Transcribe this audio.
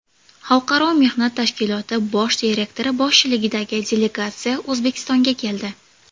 Xalqaro mehnat tashkiloti bosh direktori boshchiligidagi delegatsiya O‘zbekistonga keldi.